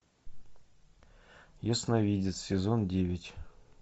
ясновидец сезон девять